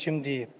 Kim deyib?